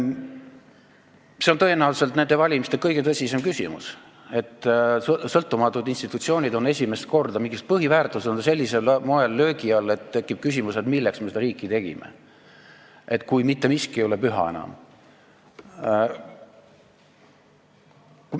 See on tõenäoliselt nende valimiste kõige tõsisem küsimus, et sõltumatud institutsioonid, mingid põhiväärtused on esimest korda sellisel moel löögi all, et tekib küsimus, milleks me seda riiki tegime, kui mitte miski ei ole enam püha.